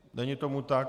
Není tomu tak.